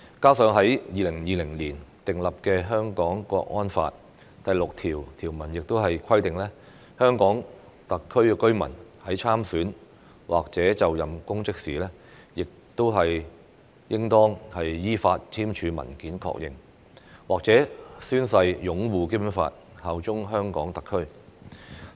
此外，在2020年訂立的《香港國安法》第六條亦規定，香港特區居民在參選或者就任公職時應當依法簽署文件確認或者宣誓擁護《基本法》、效忠香港特區。